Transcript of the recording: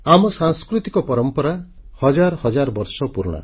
ଆମ ସାଂସ୍କୃତିକ ପରମ୍ପରା ହଜାର ହଜାର ବର୍ଷ ପୁରୁଣା